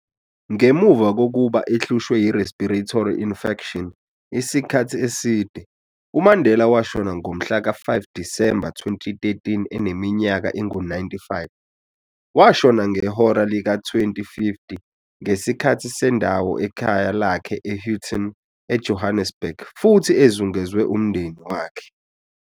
Ngemuva kokuba ehlushwe yi-respiratory infection, isikhathi eside, uMandela washona ngomhla ka 5 Disembe 2013 eneminyaka engu 95. Washona ngehora lika 20:50 ngesikhathi sendawo ekhaya lakhe e-Houghton, eJohannesburg, futhi ezungezwe umndeni wakhe.